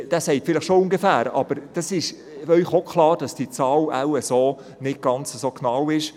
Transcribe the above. » Er wird Ihnen vielleicht schon eine ungefähre Zahl nennen, aber es wäre Ihnen klar, dass diese Zahl wahrscheinlich nicht so genau ist.